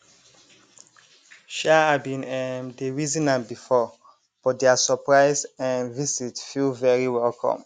um i bin um dey reason am before but their surprise um visit very welcome